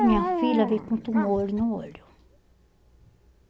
E minha filha veio com um tumor olho no olho.